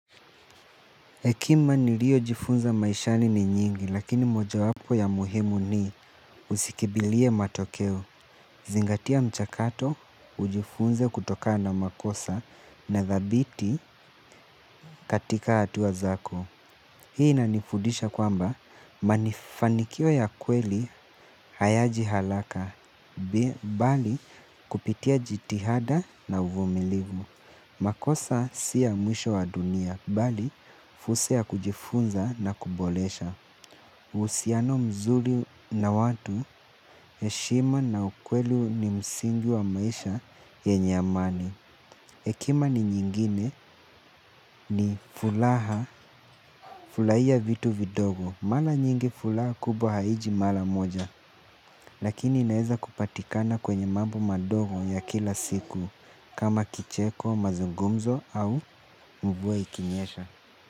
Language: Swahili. Hekima niliyojifunza maishani ni nyingi lakini mojawapo ya muhimu ni, usikimbilie matokeo. Zingatia mchakato ujifunze kutokana na makosa na thabiti katika hatua zako. Hii inanifudisha kwamba, mafanikio ya kweli hayaji haraka, bali kupitia jitihada na uvumilivu. Makosa siya mwisho wa dunia, bali fursa ya kujifunza na kuboresha. Uhusiano mzuri na watu, heshima na ukweli ni msingi wa maisha yenye amani. Hekima nyingine ni furaha, furahia vitu vidogo. Mara nyingi furaha kubwa haiji mara moja. Lakini inaeza kupatikana kwenye mambo madogo ya kila siku. Kama kicheko, mazungumzo au mvua ikinyesha.